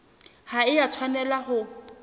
ha e a tshwanela ho